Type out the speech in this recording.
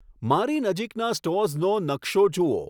મારી નજીકના સ્ટોર્સનો નકશો જુઓ